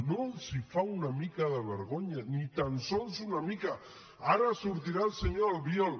no els fa una mica de vergonya ni tan sols una mica ara sortirà el senyor albiol